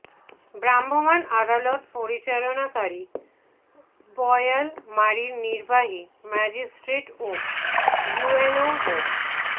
ভ্রাম্যমাণ আদালত পরিচালনাকারী বোয়ালমারীর নির্বাহী ম্যাজিস্ট্রেট ও ইউএনও মো